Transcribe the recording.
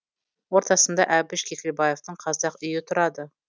ортасында әбіш кекілбаевтың қазақ үйі тұрады